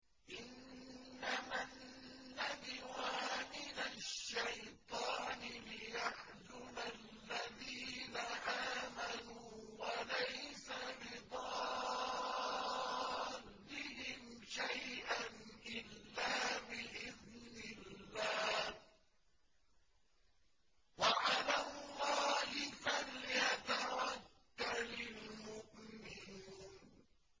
إِنَّمَا النَّجْوَىٰ مِنَ الشَّيْطَانِ لِيَحْزُنَ الَّذِينَ آمَنُوا وَلَيْسَ بِضَارِّهِمْ شَيْئًا إِلَّا بِإِذْنِ اللَّهِ ۚ وَعَلَى اللَّهِ فَلْيَتَوَكَّلِ الْمُؤْمِنُونَ